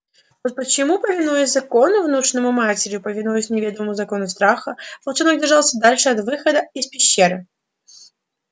вот почему повинуясь закону внушённому матерью повинуясь неведомому закону страха волчонок держался подальше от выхода из пещеры